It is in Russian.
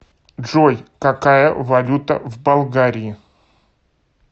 джой какая валюта в болгарии